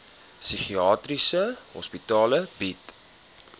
psigiatriese hospitale bied